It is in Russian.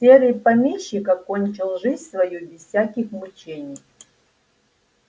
серый помещик окончил жизнь свою без всяких мучений